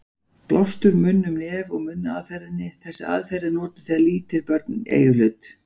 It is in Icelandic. Blástur munn-um-nef-og-munn aðferðinni: Þessi aðferð er notuð þegar lítil börn eiga í hlut.